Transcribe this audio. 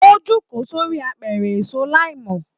O joko sori àpẹrẹ èso laimọ